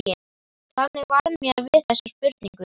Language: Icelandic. Þannig varð mér við þessa spurningu.